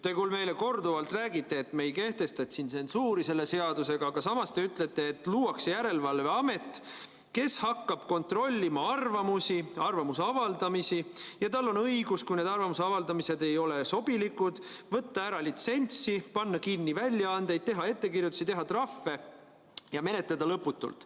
Te küll meile korduvalt räägite, et me ei kehtesta siin tsensuuri selle seadusega, aga samas te ütlete, et luuakse järelevalveamet, kes hakkab kontrollima arvamusi, arvamuse avaldamisi, ja tal on õigus, kui need arvamuse avaldamised ei ole sobilikud, võtta ära litsentsi, panna kinni väljaandeid, teha ettekirjutusi, teha trahve ja menetleda lõputult.